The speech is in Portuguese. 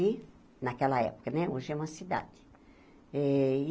E, naquela época né, hoje é uma cidade. eh e